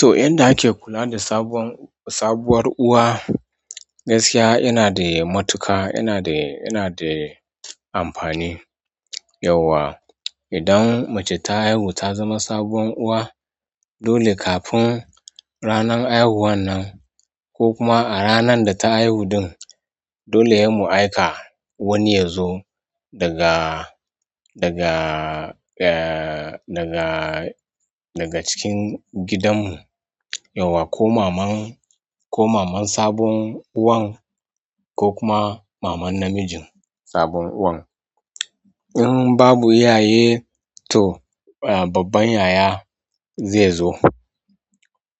To, yanda ake kula da sabon, sabuwar uwa, gaskiya yana da matuƙa, yana da, yana da amfani. Yauwa idan mace ta haihu ta zama sabon uwa, dole kafin ranar haihuwan nan ko kuma a ranar da ta haihu ɗin, dole mu aika wani yazo daga, daga, eh, daga, daga cikin gidan mu. Yauwa ko maman, ko maman sabon uwan ko kuma maman namijin sabon uwan. In babu iyaye to, eh, babban yaya zai zo,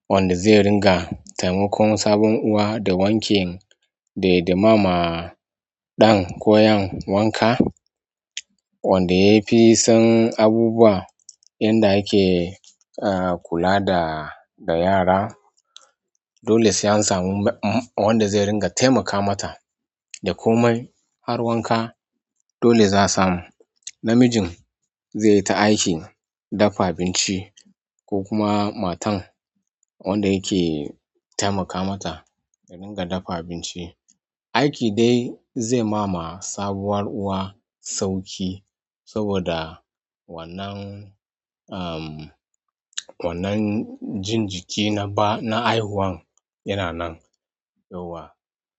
wanda zai ringa taimakon sabon uwa da wanka da, da mama ɗan koyan wanka. Wanda ya fi san abubuwa inda ake kula da yara. Dole sai an samu wanda zai ringa taimaka mata da komai har wanka. Dole za samu. Namijin zai yi ta aikin dafa abinci ko kuma matan wanda yake taimaka mata ta ringa dafa abinci. Aiki dai zai ma sabuwar uwa sauƙi, saboda wannan jin jiki na haihuwar yana nan yauwa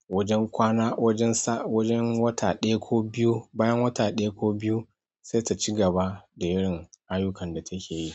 wajen kwana, wajen sa, wajen wata ɗaya ko biyu, bayan wata ɗaya ko biyu sai ta ci gaba da yin ayyukan da take yi.